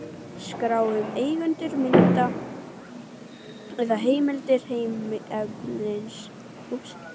Skrá um eigendur mynda eða heimildir myndefnis.